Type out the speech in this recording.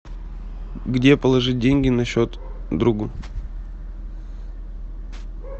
где положить деньги на счет другу